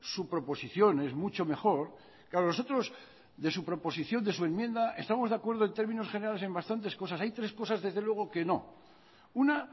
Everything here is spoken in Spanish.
su proposición es mucho mejor claro nosotros de su proposición de su enmienda estamos de acuerdo en términos generales en bastantes cosas hay tres cosas desde luego que no una